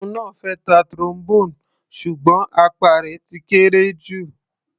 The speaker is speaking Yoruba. Òun náà fẹ́ ta Trombone ṣùgbọ́n apá rẹ̀ ti kéré jù.